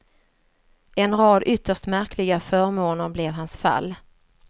En rad ytterst märkliga förmåner blev hans fall.